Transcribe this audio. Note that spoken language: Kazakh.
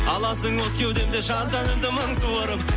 аласың от кеудемде жан тәнімді мың суырып